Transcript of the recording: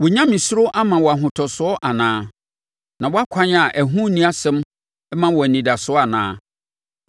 Wo nyamesuro mma wo ahotosoɔ anaa, na wʼakwan a ɛho nni asɛm mma wo anidasoɔ anaa?